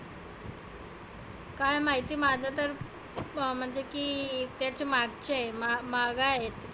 काय माहिती माझ तर म्हणजे की जे च्या मगचं आहे माग आहे.